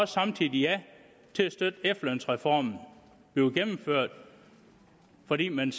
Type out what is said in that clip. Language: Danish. samtidig ja til at støtte at efterlønsreformen bliver gennemført fordi man